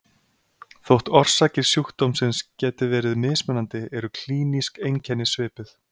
Þótt orsakir sjúkdómsins geti verið mismunandi eru klínísk einkenni svipuð.